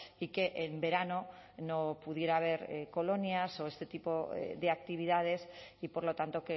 y que en verano no pudiera haber colonias o este tipo de actividades y por lo tanto